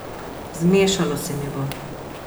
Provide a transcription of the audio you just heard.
Zmešalo se mi bo.